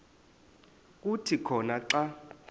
kuthi khona xa